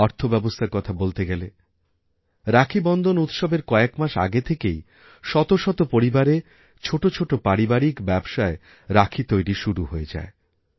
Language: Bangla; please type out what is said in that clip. অর্থব্যবস্থার কথা বলতে গেলে রাখীবন্ধনউৎসবের কয়েক মাস আগে থেকেই শত শত পরিবারে ছোটো ছোটো পারিবারিক ব্যবসায় রাখী তৈরিশুরু হয়ে যায়